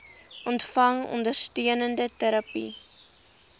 ontvang ondersteunende terapie